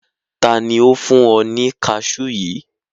Tani o fun ọ ni caṣuu yii?